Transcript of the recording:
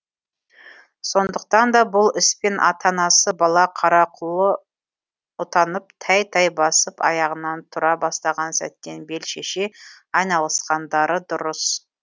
сондықтан да бұл іспен ата анасы бала қарақұлаұтанып тәй тәй басып аяғынан тұра бастаған сәттен бел шеше айналысқандары дұрыс